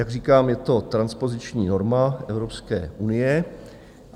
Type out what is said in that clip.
Jak říkám, je to transpoziční norma Evropské unie.